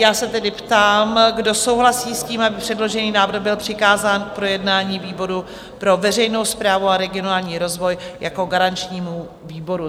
Já se tedy ptám, kdo souhlasí s tím, aby předložený návrh byl přikázán k projednání výboru pro veřejnou správu a regionální rozvoj jako garančnímu výboru?